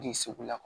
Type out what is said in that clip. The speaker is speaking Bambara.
Den segu la